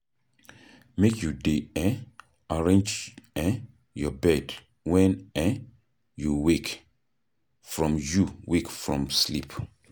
Make you dey um arrange um your bed wen um you wake from you wake from sleep.